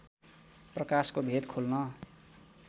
प्रकाशको भेद खोल्न